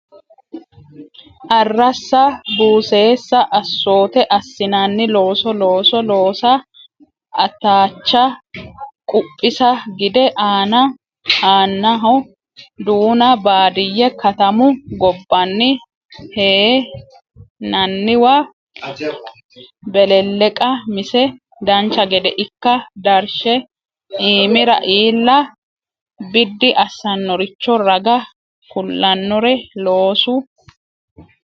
Arrassa buseessa Assoote assinanni looso looso loosa Ataacha quphisa gide aana aanaho duuna Baadiyye katamu gobbaanni hee nanniwa Belelleqa mise dancha gede ikka darshe iimira iilla biddi assannoricho raga kulannore loosu.